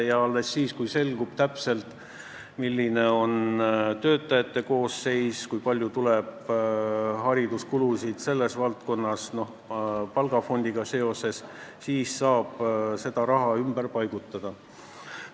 Ja alles siis, kui selgub täpselt, milline on töötajate koosseis ja kui palju hakkab selles valdkonnas olema palgafondiga seotud hariduskulusid, saab seda raha ümber paigutada.